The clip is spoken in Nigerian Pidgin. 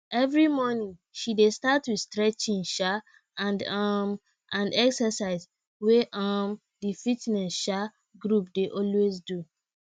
every morning she dey start with stretching um and um and exercise wey um di fitness um group dey always do